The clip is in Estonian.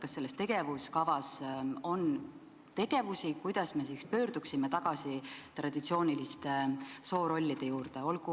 Kas selles tegevuskavas on ette nähtud tegevusi, mille abil me saaksime pöörduda tagasi traditsiooniliste soorollide juurde?